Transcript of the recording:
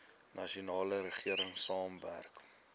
nasionale regering saamwerk